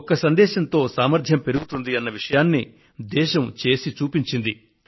ఒక్క సందేశంతో సామర్ధ్యం పెరుగుతుందన్న విషయాన్ని దేశం చేసి చూపించింది